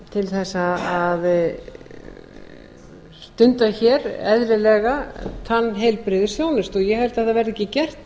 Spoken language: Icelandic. til þess að stunda hér eðlilega tannheilbrigðisþjónustu ég held að það verði ekki gert